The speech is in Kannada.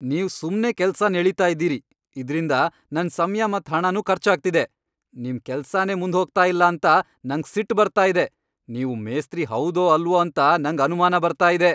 ನೀವ್ ಸುಮ್ನೆ ಕೆಲ್ಸನ್ ಎಳೀತಾ ಇದ್ದೀರಿ ಇದ್ರಿಂದ್ ನನ್ ಸಮ್ಯ ಮತ್ ಹಣನು ಖರ್ಚು ಆಗ್ತಿದೆ, ನಿಮ್ ಕೆಲ್ಸನೇ ಮುಂದ್ ಹೋಗ್ತಾ ಇಲ್ಲ ಅಂತ ನಂಗ್ ಸಿಟ್ ಬರ್ತಾ ಇದೆ. ನೀವು ಮೇಸ್ತ್ರಿ ಹೌದೋ ಅಲ್ವೋ ಅಂತ ನಂಗ್ ಅನುಮಾನ ಬರ್ತಾ ಇದೆ.